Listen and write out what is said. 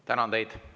Tänan teid!